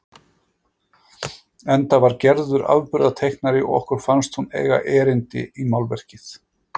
Enda var Gerður afburðateiknari og okkur fannst hún eiga erindi í málverkið.